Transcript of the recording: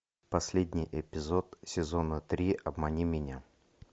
последний эпизод сезона три обмани меня